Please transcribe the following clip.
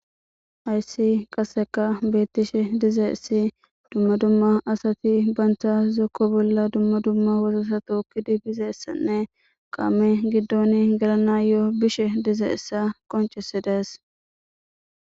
ayssi qaseka beettishe dize issi dumma dumma asati bantha zokko bolla dumma dumma wozosato ukkidi bize essanne qaame giddoni galana yo7o bishe dize issa qoncisi dees